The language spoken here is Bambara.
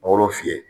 Mangoro fiyɛ